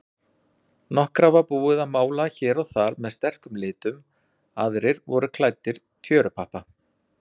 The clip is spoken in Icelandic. Nokkra var búið að mála hér og þar með sterkum litum, aðrir voru klæddir tjörupappa.